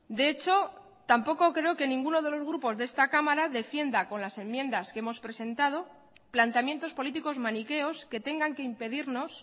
de echo tampoco creo que ninguno de los grupos de esta cámara defienda con las enmiendas que hemos presentado planteamientos políticos maniqueos que tengan que impedirnos